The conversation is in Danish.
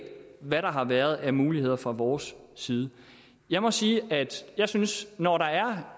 hvad der har været af muligheder fra vores side jeg må sige at jeg synes at når der er